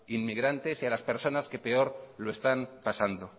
inmigrantes y a las personas que peor lo están pasando